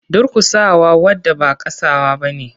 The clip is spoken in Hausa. Durkusa wa wada ba kasawa bane.